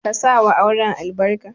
Ka sa wa auren albarka.